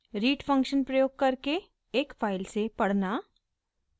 read function प्रयोग करके एक फाइल से पढ़ना